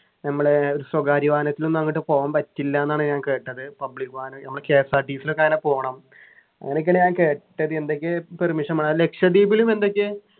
നമ്മളെ ഒരു സ്വകാര്യ വാഹനത്തിൽ ഒന്നും അങ്ങോട്ട് പോകാൻ പറ്റില്ലാന്നാണ് ഞാൻ കേട്ടത് public വാഹനം നമ്മളെ KSRTC ലൊക്കെ അങ്ങനെ പോണം അങ്ങനെയൊക്കെ ഞാൻ കേട്ടത് എന്തൊക്കെ permission വേണം ലക്ഷദ്വീപിലും എന്തൊക്കെയോ